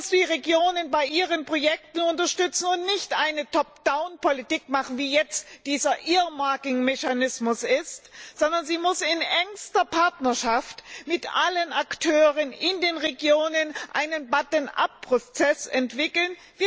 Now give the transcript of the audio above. Sie muss die Regionen bei ihren Projekten unterstützen und dort nicht eine Top down Politik machen, wie jetzt dieser Earmarking Mechanismus ist, sondern sie muss in engster Partnerschaft mit allen Akteuren in den Regionen einen Button up Prozess entwickeln.